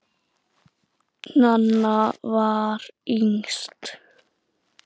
Nanna var yngst.